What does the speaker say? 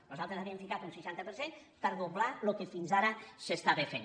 nosaltres havíem ficat un seixanta per cent per doblar el que fins ara s’estava fent